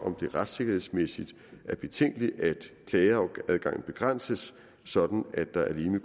at det retssikkerhedsmæssigt er betænkeligt at klageadgangen begrænses sådan at der alene